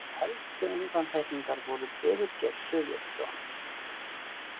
Helstu undantekningar voru Birgir Sigurðsson